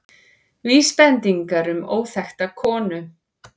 Vísbendingar um óþekkta konu